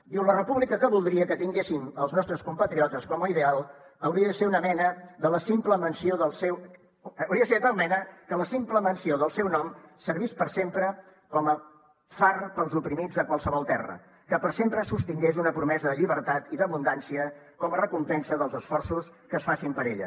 diu la república que voldria que tinguessin els nostres compatriotes com a ideal hauria de ser de tal mena que la simple menció del seu nom servís per sempre com a far pels oprimits de qualsevol terra que per sempre sostingués una promesa de llibertat i d’abundància com a recompensa dels esforços que es facin per ella